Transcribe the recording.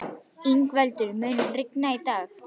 Yngveldur, mun rigna í dag?